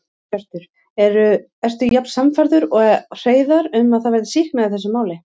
Hjörtur: Ertu jafn sannfærður og Hreiðar um að það verði sýknað í þessu máli?